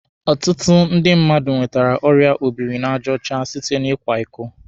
Ọtụtụ ndị mmadụ nwetere ọrịa obiri n'aja ọcha site na ịkwa iko